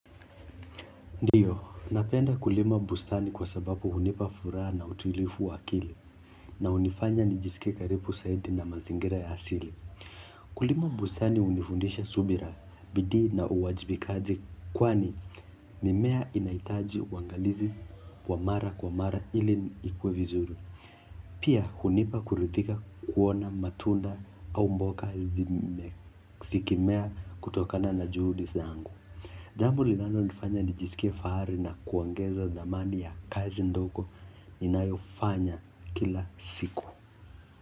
Ndio, napenda kulima bustani kwa sababu hunipa furaha na utuilivu wa akili. Na hunifanya nijisikie karibu zaidi na mazingira ya asili. Kulima bustani hunifundisha subira bidii na uwajibikaji kwani mimea inahitaji uangalizi wa mara kwa mara ili ikue vizuri. Pia hunipa kurithika kuona matunda au mboga zikimea kutokana na juhudi zangu. Jambo linalonifanya nijisikie fahari na kuongeza thamani ya kazi ndogo inayofanya kila siku.